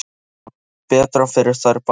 Það er betra fyrir þær báðar.